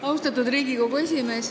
Austatud Riigikogu esimees!